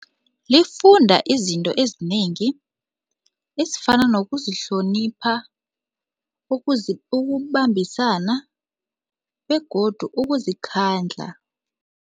Lifunda izinto ezinengi ezifana nokuzihlonipha ukubambisana begodu ukuzikhandla.